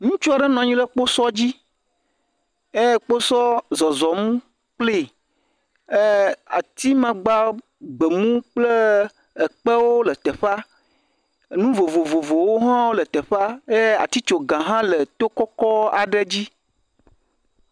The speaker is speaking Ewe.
ŋutsuɔ ɖe nɔnyi ɖe kpósɔ dzi eye kpósɔ zɔzɔm kpli e ati magba gbemu kple ekpewo le teƒa enu vovovowo hã le teƒa ye atitsoga hã le tó kɔkɔ ɖe dzi